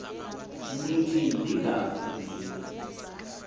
nithi ndingafi nje